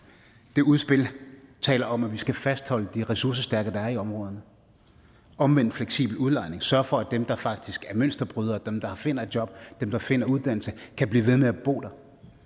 det udspil taler om at vi skal fastholde de ressourcestærke der er i områderne omvendt fleksibel udlejning sørge for at dem der faktisk er mønsterbrydere dem der finder et job dem der finder uddannelse kan blive ved med at bo der